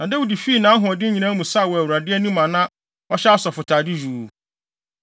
Na Dawid fii nʼahoɔden nyinaa mu saw wɔ Awurade anim a na ɔhyɛ asɔfotade yuu.